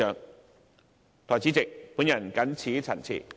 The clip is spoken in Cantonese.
代理主席，我謹此陳辭。